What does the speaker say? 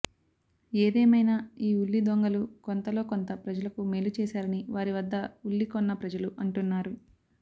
ఏదేమైనా ఈ ఉల్లి దొంగలు కొంతలో కొంత ప్రజలకు మేలు చేశారని వారి వద్ద ఉల్లి కొన్న ప్రజలు అంటున్నారు